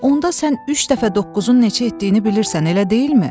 Onda sən üç dəfə doqquzun neçə etdiyini bilirsən, elə deyilmi?